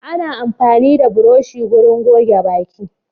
Ana amfani da burushi wurin goge baki.